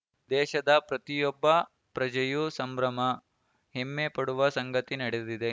ದೇಶದ ಪ್ರತಿಯೊಬ್ಬ ಪ್ರಜೆಯೂ ಸಂಭ್ರಮ ಹೆಮ್ಮೆ ಪಡುವ ಸಂಗತಿ ನಡೆದಿದೆ